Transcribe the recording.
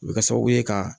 O bɛ kɛ sababu ye ka